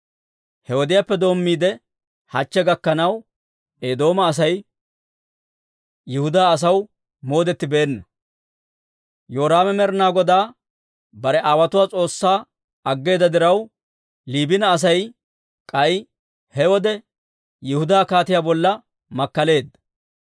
He wodiyaappe doommiide, hachche gakkanaw, Eedooma Asay Yihudaa asaw moodettibeenna. Yoraame Med'inaa Godaa bare aawotuwaa S'oossaa aggeeda diraw, Liibina Asay k'ay he wode Yihudaa kaatiyaa bolla makkaleedda.